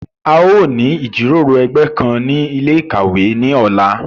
A yóò ni ijiroro ẹgbẹ kan ni ile-ikawe ni ọla